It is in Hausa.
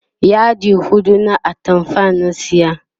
yadi huɗu na atamfar na saya